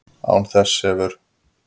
Án þess hefur